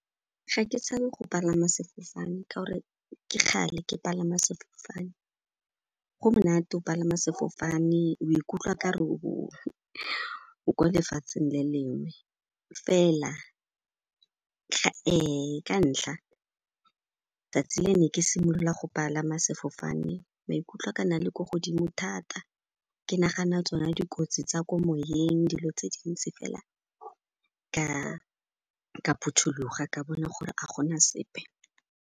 Ga ke tshabe go palama sefofane ka'ore ke kgale ke palama sefofane. Go monate'o palama sefofane, o ikutlwa okare o ko lefatsheng le lengwe fela ka ntlha tsatsi le ne ke simolola go palama sefofane, maikutlo a ka na le ko godimo thata, ke nagana tsona dikotsi tsa ko moyeng, dilo tse dintsi, fela ka phuthuloga, ka bona gore a gona sepe.